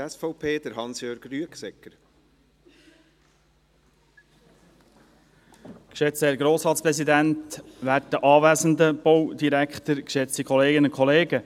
Geschätzter Herr Grossratspräsident, werter Herr Baudirektor, geschätzte Kolleginnen und Kollegen.